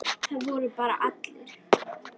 Það voru bara allir.